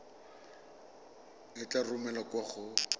e tla romelwa kwa go